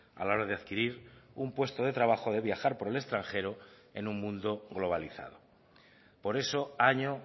a la hora de adquirir un puesto de trabajo de viajar por el extranjero en un mundo globalizado por eso año